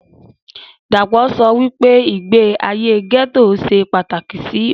Dàpọ̀ sọ wípé ìgbé ayé gẹ́tò ṣe pàtàkì sí ohun